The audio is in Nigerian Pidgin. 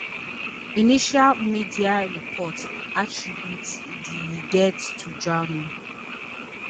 initial media reports attribute di deaths to drowning